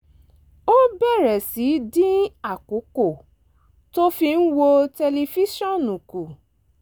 ó bẹ̀rẹ̀ sí í dín àkókò tó fi ń wo tẹlifíṣọ̀n kù